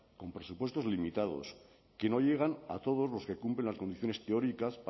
con presupuestos limitados que no llegan a todos los que cumplen las condiciones teóricas